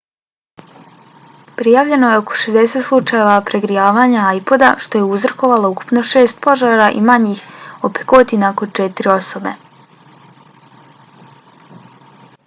prijavljeno je oko 60 slučajeva pregrijavanja ipoda što je uzrokovalo ukupno šest požara i manjih opekotina kod četiri osobe